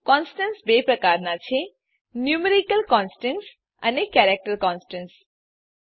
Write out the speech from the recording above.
constants બે પ્રકારનાં છે ન્યુમેરિક કોન્સ્ટન્ટ્સ અને કેરેક્ટર કોન્સ્ટન્ટ્સ